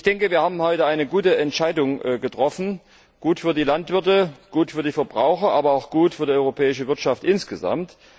Ich denke, wir haben heute eine gute Entscheidung getroffen, gut für die Landwirte, gut für die Verbraucher, aber auch gut für die europäische Wirtschaft insgesamt.